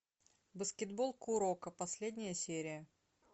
баскетбол куроко последняя серия